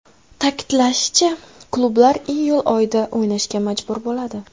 Ta’kidlanishicha, klublar iyul oyida o‘ynashga majbur bo‘ladi.